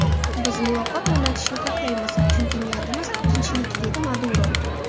Biz muloqot o‘rnatishni xohlaymiz, chunki niyatimiz tinchlik”, dedi Maduro.